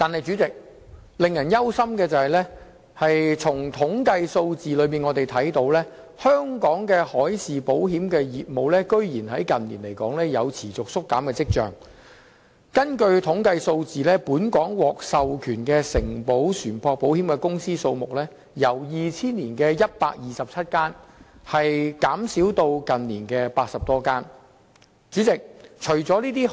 主席，令人擔憂的是，從統計數字可見，香港的海事保險業務近年有持續縮減的跡象，本港獲授權承保船舶保險的公司數目由2000年的127間，下跌至近年的80多間。